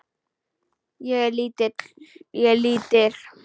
Ég er lítil.